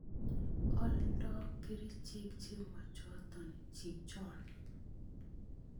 Oldo kerichek chemochoton chichon.